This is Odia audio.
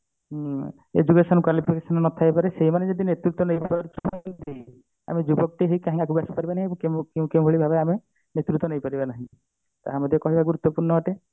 ଉଁ education qualification ନଥାଇ ପାରେ ସେଇମାନେ ଯଦି ନେତୃତ୍ଵ ନେଇଥିବେ ଆମ ଯୁବକ ଟି ହେଇ କାହିଁକି ଆଗକୁ ଆସି ପାରିବାନି ଏବଂ କେଉଁ ଭଳି ଭାବେ ଆମେ ନେତୃତ୍ଵ ନେଇ ପାରିବାନି ତାହା ମଧ୍ୟ ଏକ ଗୁରୁତ୍ବପୂର୍ଣ ଅଟେ